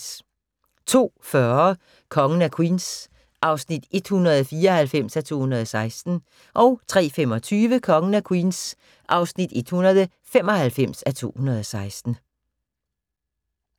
02:40: Kongen af Queens (194:216) 03:25: Kongen af Queens (195:216)